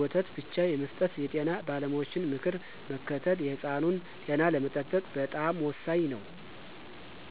ወተት ብቻ የመስጠት የጤና ባለሙያዎችን ምክር መከተል የሕፃኑን ጤና ለመጠበቅ በጣም ወሳኝ ነው።